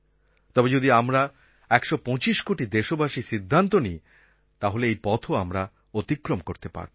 তবে যদি আমরা ১২৫ কোটি দেশবাসী সিদ্ধান্ত নিই তাহলে এই পথও আমরা অতিক্রম করতে পারব